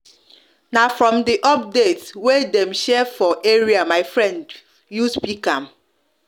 na from the update wey dem share for area my friend use pick up